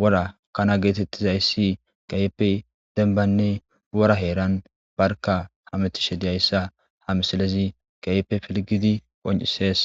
wora kana geetettizayssi keyipe denbanne wora heeran barka hamitishe diyayssa ha misilezi keyipe pilgidi qoncisees